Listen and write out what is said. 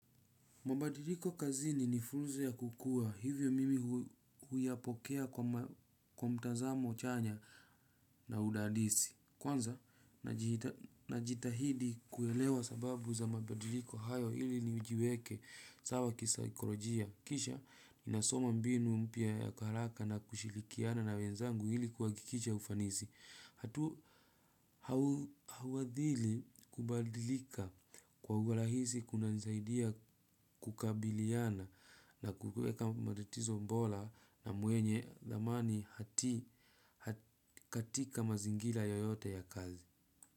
Mabadiliko kazini ni fursa ya kukua hivyo mimi huyapokea kwa mtazamo chanya na udadisi. Kwanza, najitahidi kuelewa sababu za mabadiliko hayo ili ni ujiweke sawa kisakolojia. Kisha, ninasoma mbinu mpya ya haraka na kushirikiana na wenzangu ili kuhakikisha ufanisi. Hatu hauadhili kubadilika kwa urahisi kunanisaidia kukabiliana na kukueka matatizo bola na mwenye thamani hati katika mazingira yoyote ya kazi.